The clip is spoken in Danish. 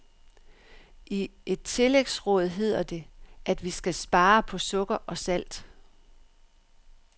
I et tillægsråd hedder det, at vi skal spare på sukker og salt.